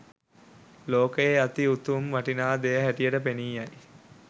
ලෝකයේ ඇති උතුම් වටිනා දෙය හැටියට පෙනී යයි.